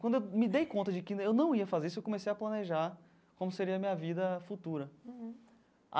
Quando eu me dei conta de que eu não ia fazer isso, eu comecei a planejar como seria a minha vida futura.